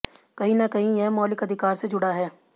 कहीं न कहीं यह मौलिक अधिकार से जुड़ा है